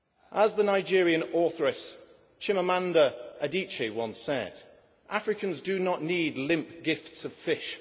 As the Nigerian authoress, Chimamanda Adichie, once said Africans do not need limp gifts of fish.